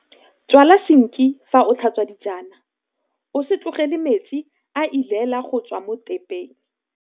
Tswala sinki fa o tlhatswa dijana, o se tlogele metsi a elela go tswa mo thepeng.